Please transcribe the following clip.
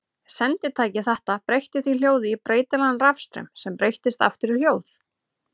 Senditæki þetta breytti því hljóði í breytilegan rafstraum sem breyttist aftur í hljóð.